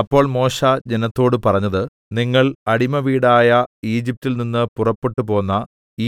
അപ്പോൾ മോശെ ജനത്തോട് പറഞ്ഞത് നിങ്ങൾ അടിമവീടായ ഈജിപ്റ്റിൽ നിന്ന് പുറപ്പെട്ടുപോന്ന